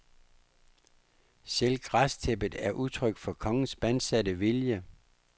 Selv græstæppet er udtryk for kongens bandsatte vilje.